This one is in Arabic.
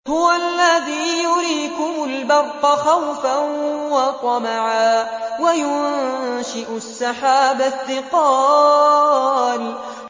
هُوَ الَّذِي يُرِيكُمُ الْبَرْقَ خَوْفًا وَطَمَعًا وَيُنشِئُ السَّحَابَ الثِّقَالَ